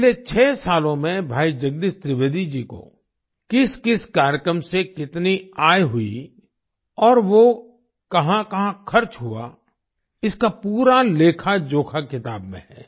पिछले 6 सालों में भाई जगदीश त्रिवेदी जी को किसकिस कार्यक्रम से कितनी आय हुई और वो कहाँकहाँ खर्च हुआ इसका पूरा लेखाजोखा किताब में है